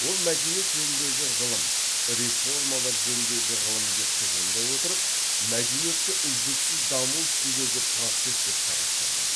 ол мәдениет жөніндегі ғылым реформалар жөніндегі ғылым деп тұжырымдай отырып мәдениетті үздіксіз даму үстіндегі процесс деп қарастырды